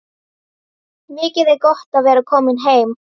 Mikið er gott að vera komin heim!